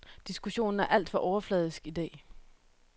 Diskussionen er alt for overfladisk idag.